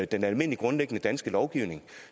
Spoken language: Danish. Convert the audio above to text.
den almindelige grundlæggende danske lovgivning